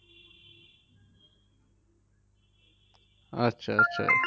আচ্ছা আচ্ছা